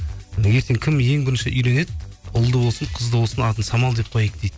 кім ең бірінші үйленеді ұлды болсын қызды болсын атын самал деп қояйық дейді